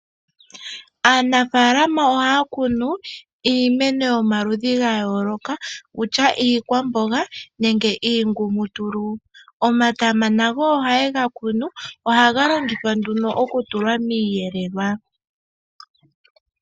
Aanafaalama ohaya kunu iimeno yomaludhi ga yoolokathana, okutya iikwamboga nenge iingumutulu. Omatama nago ohaye ga kunu, ohaga longithwa nduno miiyelelwa.